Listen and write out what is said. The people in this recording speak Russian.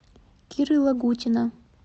киры лагутина